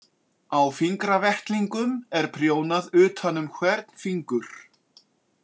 Á fingravettlingum er prjónað utan um hvern fingur.